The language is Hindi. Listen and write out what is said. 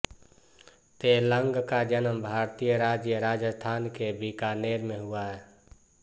तैलंग का जन्म भारतीय राज्य राजस्थान के बीकानेर में हुआ